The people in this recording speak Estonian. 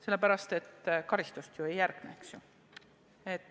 Sellepärast et karistust ju ei järgne, eks ju.